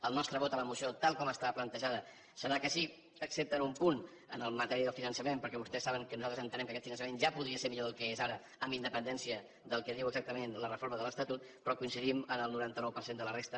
el nostre vot a la moció tal com està plantejada serà que sí excepte en un punt en matèria de finançament perquè vostès saben que nosaltres entenem que aquest finançament ja podria ser millor del que és ara amb independència del que diu exactament la reforma de l’estatut però coincidim en el noranta nou per cent de la resta